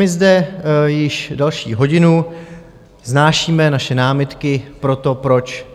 My zde již další hodinu vznášíme naše námitky pro to, proč